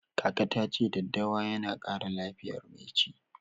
Kaka ta ce daddawa yana ƙara lafiyar mai ci.